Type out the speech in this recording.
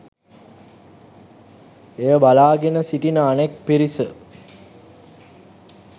එය බලාගෙන සිටින අනෙක් පිරිස